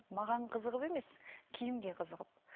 маған қызығып емес киімге қызығып